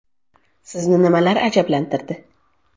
Sizni nimalar ajablantirdi.